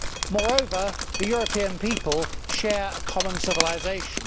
Moreover, the European people share a common civilisation.